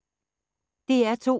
DR2